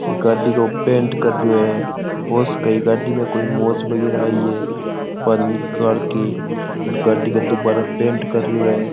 ये गाड़ी को पैंट कर रहे है हो सके गाड़ी में कोई मोच वगेरा आई है बा निकाल के गाड़ी के दुबारा पेंट कर रहो है।